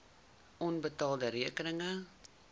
onbetaalde rekeninge